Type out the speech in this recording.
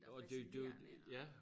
Og det jo det jo øh ja